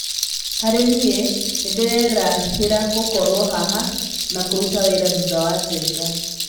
Harĩ niĩ, nĩndĩrerahĩra gũkorwo haha na kũruta wĩra thutha wa Njenga.